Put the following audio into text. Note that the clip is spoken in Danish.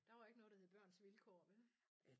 Der var ikke noget der hed børns vilkår vel